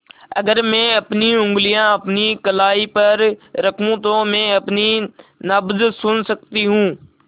अगर मैं अपनी उंगलियाँ अपनी कलाई पर रखूँ तो मैं अपनी नब्ज़ सुन सकती हूँ